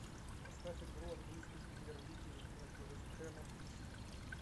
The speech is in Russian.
поставь игру английской премьер лиги между вест хэмом и сити